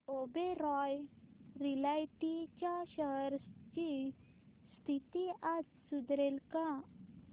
Oberoi realty च्या shares ची स्थिती आज सुधारेल का